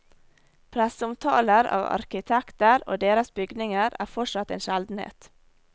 Presseomtaler av arkitekter og deres bygninger er fortsatt en sjeldenhet.